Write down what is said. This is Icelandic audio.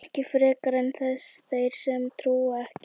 Ekki frekar en þeir sem trúa ekki.